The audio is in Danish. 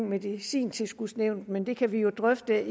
medicintilskudsnævnet men det kan vi jo drøfte